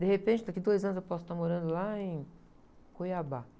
De repente, daqui a dois anos, eu posso estar morando lá em Cuiabá.